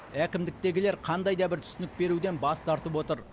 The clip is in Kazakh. әкімдіктегілер қандай да бір түсінік беруден бас тартып отыр